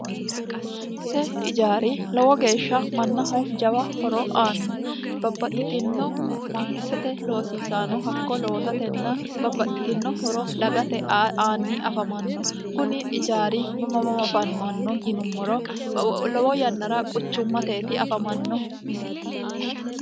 Mootimmate ijaari lowo geeshsha mannaho jawa horo aanno babbaxxitino mangissate loosiisaano hakko lowosatenna babbaxxitino horo dagate aanni afamanno kuni ijaari mama mamo afamanno yinummoro lowo yannara quchummateti afamannohu